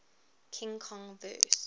king kong vs